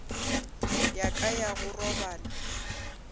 ya ka ya go robala